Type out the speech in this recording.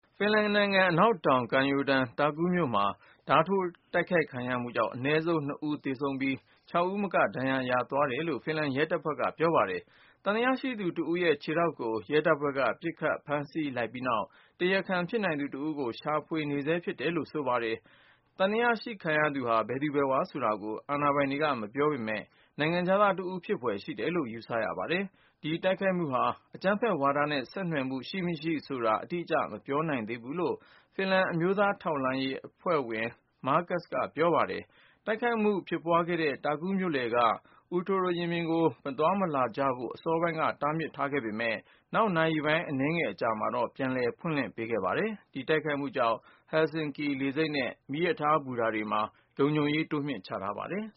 ဖင်လန်နိုင်ငံ အနောက်တောင် ကမ်းရိုးတန်း တာကူးမြို့မှာ ဓါးထိုး တိုက်ခိုက်ခံရမှုကြောင်း အနည်းဆုံး (၂)ဦးသေဆုံးပြီး (၆)ဦးမက ဒဏ်ရာ ရသွားတယ်လို့ ဖင်လန်ရဲတပ်ဖွဲ့က ဆိုပါတယ်။ သံသယရှိသူတဦးရဲ့ ခြေထောက်ကိုရဲတပ်ဖွဲ့က ပစ်ခတ်ဖမ်းဆီးလိုက်ပြီးနောက် ၊ တရားခံဖြစ်နိုင်သူ တဦးကို ရှာဖွေနေဆဲ ဖြစ်တယ်လို့ဆို ပါတယ်။ သံသယရှိခံရသူဟာ ဘယ်သူ ဘယ်ဝါဆိုတာကို အာဏာပိုင်တွေက မပြောပေမယ့် နိုင်ငံခြားသားတဦး ဖြစ်ဖွယ် ရှိတယ်လို့ ယူဆရ ပါတယ်။ ဒီတိုက်ခိုက်မှုဟာ အကြမ်းဖက်ဝါဒနဲ့ ဆက်နွှယ်မှု ရှိ/မရှိဆိုတာ အတိကျ မပြောနိုင်သေးဘူးလို့ ဖင်လန်အမျိုးသား ထောက်လှမ်းရေးအဖွဲ့ဝင် Markus Laine ကဆိုပါတယ်။ တိုက်ခိုက်မှု ဖြစ်ပွားခဲ့တဲ့ တာကူးမြို့လယ်က Puutori ရင်ပြင်ကို မသွားမလာကြဖို့ အစောပိုင်းက တားမြစ် ထားခဲ့ပေမယ့် နောက်နာရီ အနည်းငယ်အကြာမှာ ပြန်လည်ဖွင့်လှစ် ပေးခဲ့ပါတယ်။ ဒီတိုက်ခိုက်မှုကြောင့် Helsinki လေဆိပ်နဲ့ မီးရထားဘူတာတွေမှာ လုံခြုံရေး တိုးမြှင့်ချထားပါတယ်